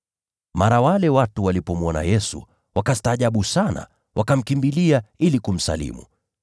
Mara wale watu walipomwona Yesu, wakastaajabu sana, wakamkimbilia ili kumsalimu.